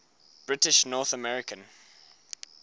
british north american